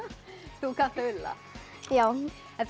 þú kannt að ulla já